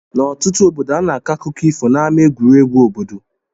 N' ọtụtụ obodo ana akọ akụkọ ifo na ama egwuregwu obodo.